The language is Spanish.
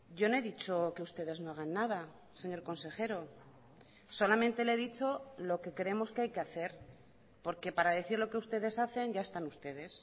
yo no he dicho que ustedes no hagan nada señor consejero solamente le he dicho lo que creemos que hay que hacer porque para decir lo que ustedes hacen ya están ustedes